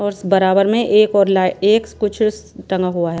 औरस बराबर में एक और लाए एक्स कुछस टंगा हुआ हैं।